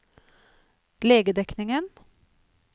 legedekningen